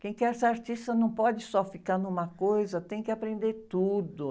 Quem quer ser artista não pode só ficar numa coisa, tem que aprender tudo.